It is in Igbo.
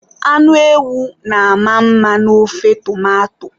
Anụ ewu na-ama mma n'ofe tomato.